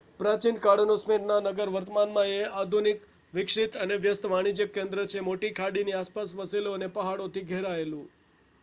પ્રાચીનકાળનો Smyrna નગર વર્તમાનમાં એ એક આધુનિક વિકસિત અને વ્યસ્ત વાણિજ્યક કેન્દ્ર છે મોટી ખાડીની આસપાસ વસેલો અને પહાડોથી ઘેરાયેલું